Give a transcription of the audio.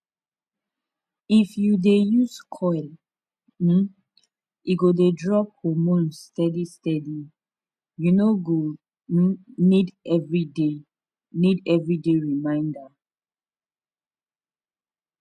if you dey use coil um e go dey drop hormones steady steady u no go um need everyday need everyday reminder pause small um